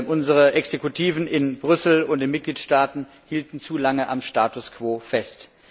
Unsere Exekutiven in Brüssel und in den Mitgliedstaaten hielten zu lange am Status quo fest.